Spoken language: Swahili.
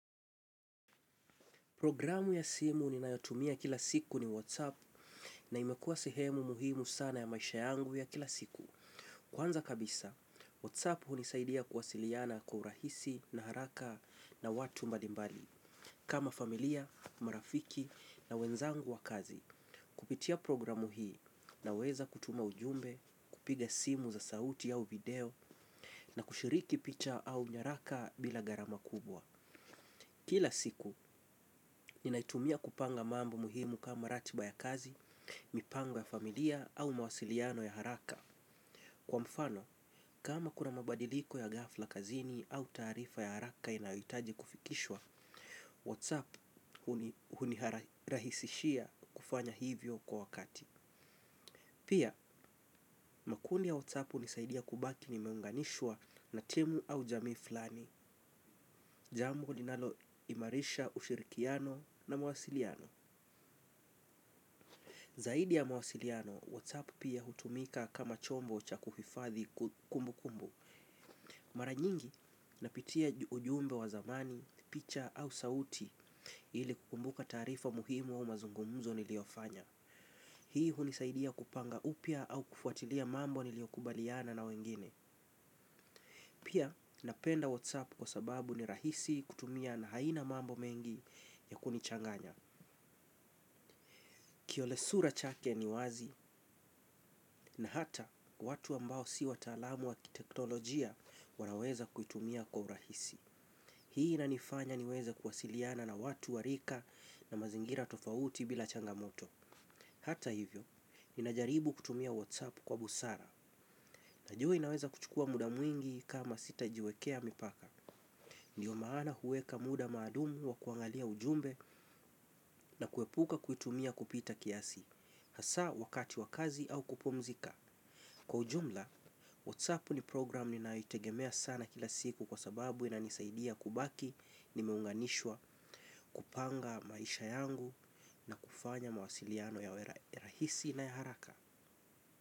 Programu ya simu ninayotumia kila siku ni WhatsApp na imekuwa sehemu muhimu sana ya maisha yangu ya kila siku. Kwanza kabisa, WhatsApp hunisaidia kuwasiliana kwa urahisi na haraka na watu mbadimbali, kama familia, marafiki na wenzangu wa kazi. Kupitia programu hii naweza kutuma ujumbe, kupiga simu za sauti au video na kushiriki picha au nyaraka bila gharama kubwa. Kila siku, ninaitumia kupanga mambo muhimu kama ratiba ya kazi, mipango ya familia au mawasiliano ya haraka. Kwa mfano, kama kuna mabadiliko ya ghafla kazini au taarifa ya haraka inayohitaji kufikishwa, WhatsApp hunirahisishia kufanya hivyo kwa wakati. Pia, makundi ya WhatsApp hunisaidia kubaki nimeunganishwa na timu au jamii fulani, jambo linaloimarisha ushirikiano na mawasiliano. Zaidi ya mawasiliano, Whatsapp pia hutumika kama chombo cha kuhifadhi kumbukumbu. Mara nyingi napitia ujumbe wa zamani, picha au sauti ili kukumbuka taarifa muhimu au mazungumzo niliyofanya. Hii hunisaidia kupanga upya au kufuatilia mambo niliyokubaliana na wengine. Pia napenda Whatsapp kwa sababu ni rahisi kutumia na haina mambo mengi ya kunichanganya. Kiole sura chake ni wazi na hata watu ambao si wataalamu wa kiteknolojia wanaweza kuitumia kwa urahisi. Hii inanifanya niweze kuwasiliana na watu wa rika na mazingira tofauti bila changamoto. Hata hivyo, ninajaribu kutumia WhatsApp kwa busara. Najua inaweza kuchukua muda mwingi kama sitajiwekea mipaka. Ndiyo maana huweka muda maalumu wa kuangalia ujumbe na kuepuka kuitumia kupita kiasi. Hasa wakati wa kazi au kupumzika. Kwa ujumla, WhatsApp ni program ninayoitegemea sana kila siku kwa sababu inanisaidia kubaki nimeunganishwa kupanga maisha yangu na kufanya mawasiliano ya rahisi na ya haraka.